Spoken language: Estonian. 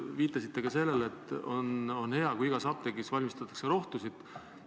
Te viitasite ka sellele, et on hea, kui igas apteegis valmistataks rohtusid.